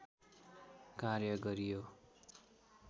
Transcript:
कार्य गरियो।